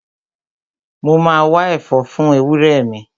Mo ma wá ẹ̀fọ́ fún ewúrẹ́ mi